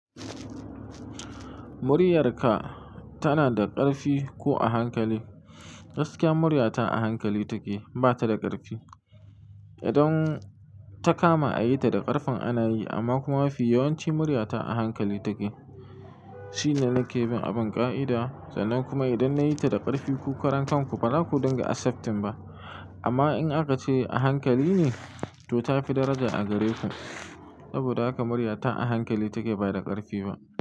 Muryarka tana da ƙarfi ko a hankali? Gaskiya murya ta a hankali take ba ta da ƙarfi. Idan ta kama a yi ta da ƙarfin ana yi amma kuma mafi yawanci murya ta a hankali take. Shi ne na ke bin abin ƙa'ida, sannan kuma idan na yi ta da ƙarfi ku karan ku baza ku dinga accepted ba. Amma in aka ce a hankali ne to ta fi daraja a gare ku. Saboda haka murya ta a hankali take ba da ƙarfi ba.